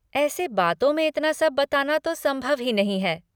ऐसे बातों में इतना सब बताना तो संभव ही नहीं है।